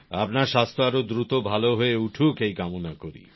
আপনার স্বাস্থ্য আরো দ্রুত ভালো হয়ে উঠুক এই কামনা করি